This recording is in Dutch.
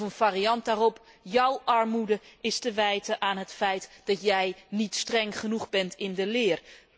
Of een variant daarop jouw armoede is te wijten aan het feit dat jij niet streng genoeg bent in de leer.